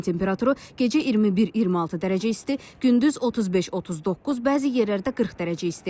Havanın temperaturu gecə 21-26 dərəcə isti, gündüz 35-39, bəzi yerlərdə 40 dərəcə isti.